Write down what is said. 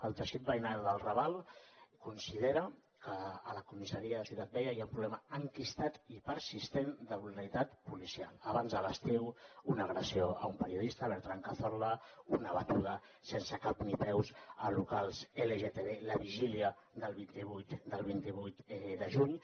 el teixit veïnal del raval considera que a la comissaria de ciutat vella hi ha un problema enquistat i persistent de brutalitat policial abans de l’estiu una agressió a un periodista bertran cazorla una batuda sense cap ni peus a locals lgtb la vigília del vint vuit de juny